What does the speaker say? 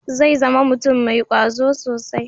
Zai zama mutum mai kwazo sosai.